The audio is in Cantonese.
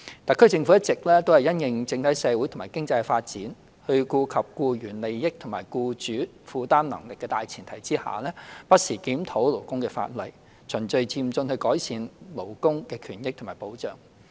特區政府一直因應整體社會及經濟的發展，在顧及僱員利益與僱主負擔能力的大前提下，不時檢討勞工法例，循序漸進地改善勞工權益及保障。